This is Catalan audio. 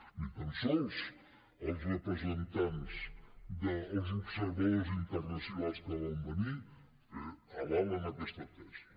ni tan sols els representants dels observadors internacionals que van venir avalen aquesta tesi